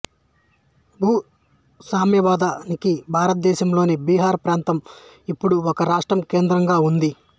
భూస్వామ్యవాదానికి భారతదేశంలోని బీహారు ప్రాంతం ఇప్పుడు ఒక రాష్ట్రం కేంద్రంగా ఉంది